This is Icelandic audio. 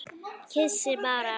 Kyssi bara.